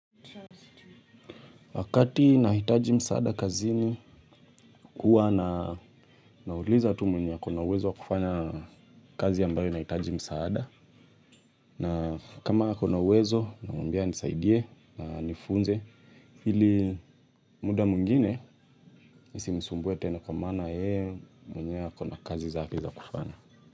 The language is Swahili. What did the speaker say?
Wakati nahitaji msaada kazini huwa na nauliza tu mwenye akona uwezo wa kufanya, kazi ambayo inahitaji msaada, na kama akona uwezo, namwambia anisaidie, na anifunze hili muda mwingine, nisimsumbue tena kwa maana yeye mwenyewe akona kazi zake za kufanya.